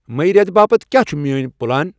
مئی ریتہٕ باپتھ کیا چِھ میٲنۍ پلان؟